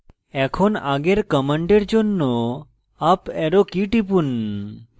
এখন আগের command জন্য up arrow key টিপুন